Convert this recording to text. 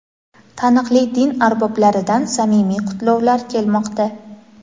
taniqli din arboblaridan samimiy qutlovlar kelmoqda.